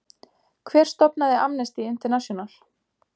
Hver stofnaði Amnesty International?